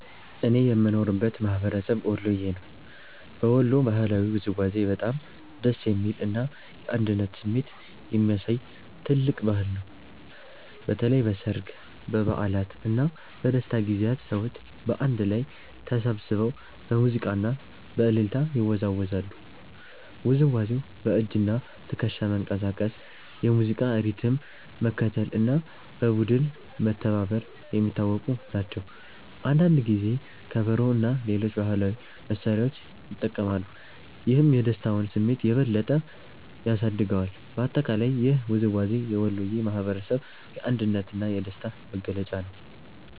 እኔ የምኖርበት ማህበረሰብ ወሎየ ነው። በወሎ ባህላዊ ውዝዋዜ በጣም ደስ የሚል እና የአንድነት ስሜት የሚያሳይ ትልቅ ባህል ነው። በተለይ በሠርግ፣ በበዓላት እና በደስታ ጊዜያት ሰዎች በአንድ ላይ ተሰብስበው በሙዚቃ እና በእልልታ ይወዛወዛሉ። ውዝዋዜው በእጅና ትከሻ መንቀሳቀስ፣ የሙዚቃ ሪትም መከተል እና በቡድን መተባበር የሚታወቁ ናቸው። አንዳንድ ጊዜ ከበሮ እና ሌሎች ባህላዊ መሳሪያዎች ይጠቀማሉ፣ ይህም የደስታውን ስሜት የበለጠ ያሳድገዋል። በአጠቃላይ ይህ ውዝዋዜ የወሎየ ማህበረሰብ የአንድነት እና የደስታ መገለጫ ነው።